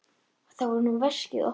Þar var nú veskið opnað.